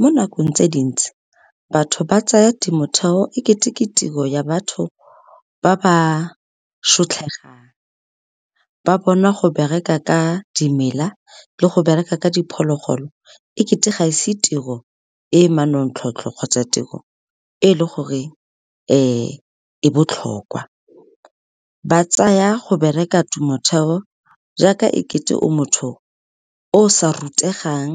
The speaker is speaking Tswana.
Mo nakong tse dintsi, batho ba tsaya temotheo e kete ke tiro ya batho ba ba , ba bona go bereka ka dimela le go bereka ka diphologolo e kete ga se tiro e manontlhotlho kgotsa tiro e le gore e botlhokwa. Ba tsaya go bereka temotheo jaaka e kete o motho o sa rutegang